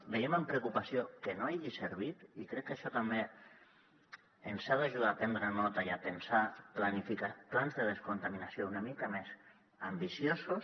veiem amb preocupació que no hagi servit i crec que això també ens ha d’ajudar a prendre’n nota i a pensar plans de descontaminació una mica més ambiciosos